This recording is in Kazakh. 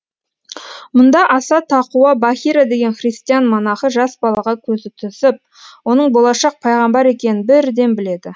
мұнда аса тақуа бахира деген христиан монахы жас балаға көзі түсіп оның болашақ пайғамбар екенін бірден біледі